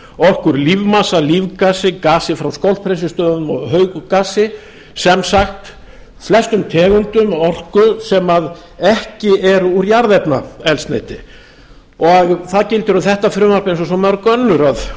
orku úr lífmassa lífgasi gasi frá skólphreinsistöðvum og hauggasi sem sagt flestum tegundum af orku sem ekki eru úr jarðefnaeldsneyti það gildir um þetta frumvarp eins og svo mörg önnur að